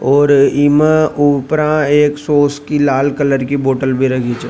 और इ में उपरा सॉस की एक लाल कलर की बोतल भी राखी छ।